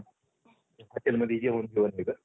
hotelमध्ये जेवण केलं तिथं